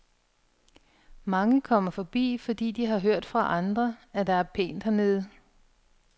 Mange kommer forbi, fordi de har hørt fra andre, at der er pænt hernede.